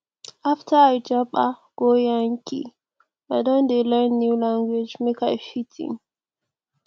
after i japa go yankee i don dey learn new language make i fit in